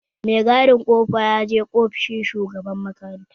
Mai gadin kofa yaje ofishin shugaban makaranta